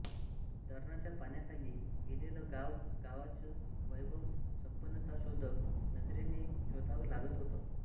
धरणाच्या पाण्याखाली गेलेलं गाव गावाचं वैभव संपन्नता शोधक नजरेने शोधावं लागत होतं